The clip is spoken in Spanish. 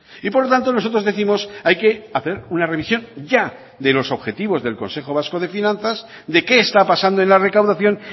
y por lo tanto nosotros décimos hay que hacer una revisión ya de los objetivos del consejo vasco de finanzas de qué está pasando en la recaudación